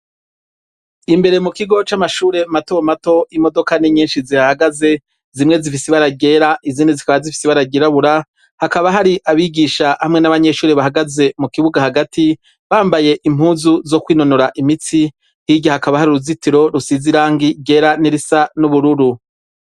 Imbere mu kigo c'amashure mato mato, imodoka n'inyinshi zihahagaze ,zimwe zifise ibara ryera ,izindi zikaba zifise ibara ryirabura ,hakaba hari abigisha hamwe n'abanyeshuri bahagaze mu kibuga hagati ,bambaye impuzu zo kwinonora imitsi, hirya hakaba har'uruzitiro rusize irangi ryera, n'irisa n'ubururu.